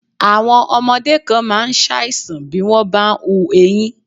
Àwọn ọmọdé kan máa ń ṣàìsàn bí wọ́n bá ń hù eyín.